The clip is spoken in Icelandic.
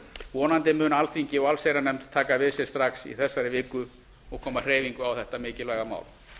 vonandi mun alþingi og allsherjarnefnd taka við sér strax í þessari viku og koma hreyfingu á þetta mikilvæga mál